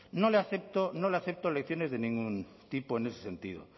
no le acepto lecciones de ningún tipo en ese sentido